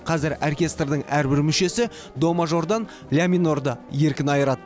қазір оркестрдің әрбір мүшесі до мажордан ля минорды еркін айырады